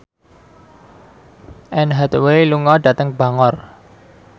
Anne Hathaway lunga dhateng Bangor